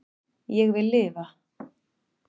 Ég vil lifa